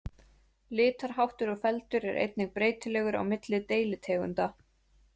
Litarháttur og feldur er einnig breytilegur á milli deilitegundanna.